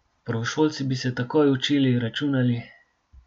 Prvošolci bi se takoj učili, računali ...